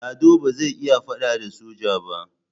Lado ba zai iya faɗa da soja ba.